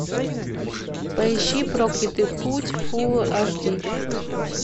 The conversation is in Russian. поищи проклятый путь фул аш ди